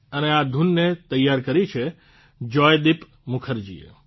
અને આ ધૂનને તૈયાર કરી છે જોયદિપ મુખર્જીએ